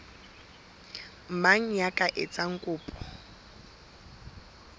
mang ya ka etsang kopo